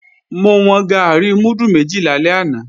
Mo wọn gàárì múdù méjì lálẹ́ àná